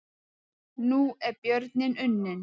Nú er björninn unninn